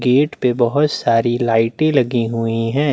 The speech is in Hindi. गेट पे बहुत सारी लाईटे लगी हुई है।